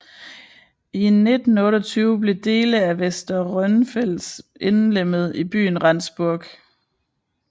I 1928 blev dele af Westerrönfelds indlemmet i byen Rendsburg